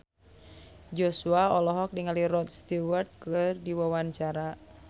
Joshua olohok ningali Rod Stewart keur diwawancara